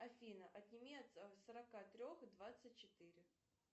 афина отними от сорока трех двадцать четыре